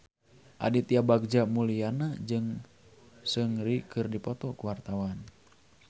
Aditya Bagja Mulyana jeung Seungri keur dipoto ku wartawan